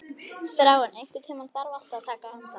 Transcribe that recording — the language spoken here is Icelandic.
Þráinn, einhvern tímann þarf allt að taka enda.